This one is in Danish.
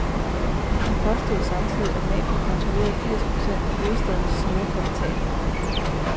Han påstod samtidig, at mafiaen kontrollerer firs procent af hovedstadens sorte kapital.